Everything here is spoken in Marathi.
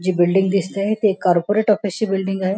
जी बिल्डिंग दिसतेय ती एक कॉर्पोरेट ऑफिसची बिल्डिंग आहे.